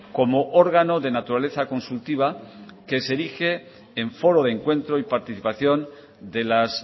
como órgano de naturaleza consultiva que se erige en foro de encuentro y participación de las